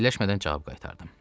Fikirləşmədən cavab qaytardım.